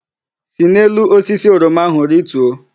Si n'elu osisi oroma ahụ rituo!